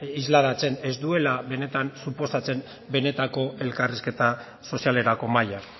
islatzen ez duela benetan suposatzen benetako elkarrizketa sozialerako mahaia